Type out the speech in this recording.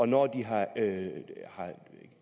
når de har